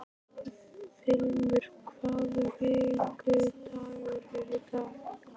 Vilmundur, hvaða vikudagur er í dag?